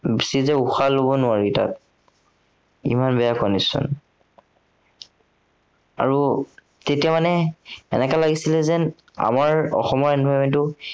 বেছি দেৰি উশাহ লব নোৱাৰি তাত। ইমান বেয়া condition আৰু, তেতিয়া মানে এনেকা লাগিছিলে যেন, আমাৰ অসমৰ environment টো